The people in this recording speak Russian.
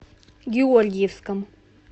георгиевском